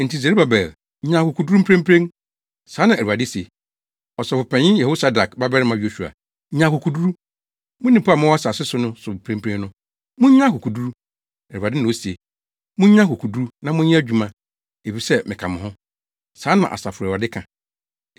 Enti Serubabel, nya akokoduru mprempren.’ Saa na Awurade se, ‘Ɔsɔfopanyin Yehosadak babarima Yosua, nya akokoduru. Mo nnipa a mowɔ asase no so mprempren no, munnya akokoduru. Awurade na ose. Munnya akokoduru na monyɛ adwuma, efisɛ, meka mo ho.’ Saa na Asafo Awurade ka.